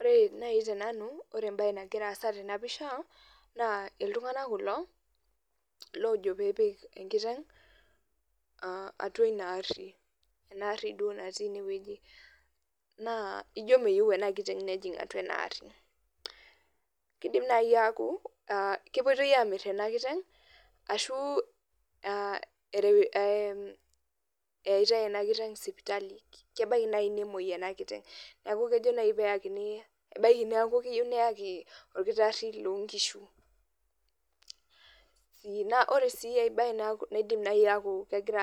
Ore nai tenanu ore embae nagira aasa tenapisha na ltunganak kulo lojo peyie epik enkiteng atua inaari na ijo meyieu enakiteng nejing atua enaari indim naai aaku kepoitoi amir enakiteng ashu eitai enakiteng sipitali ebaki nai nemwoi enakiteng ebaki na keyieu neyakini orkitari lonkishu na ore si aibae na kidim negira